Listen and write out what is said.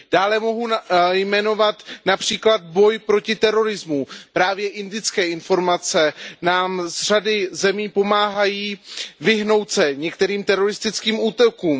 Dále mohu jmenovat například boj proti terorismu, právě indické informace z řady zemí nám pomáhají vyhnout se některým teroristickým útokům.